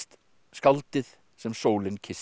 skáldið sem sólin kyssti